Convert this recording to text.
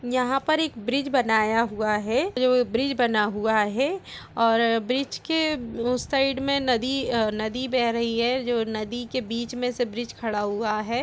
यहां पर एक ब्रिज बनाया हुआ है जो ब्रिज बना हुआ है और ब्रिज के उस साइड में नदी अ नदी बह रही है जो नदी के बीच में से ब्रिज खड़ा हुआ है।